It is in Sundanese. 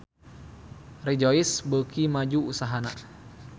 Rejoice beuki maju usahana